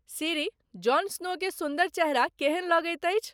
सिरी Jon Snow के सुन्दर चेहरा केहन लगैत अछि